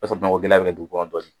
o b'a sɔrɔ gɛlɛn bɛ dugu kɔnɔ dɔɔni.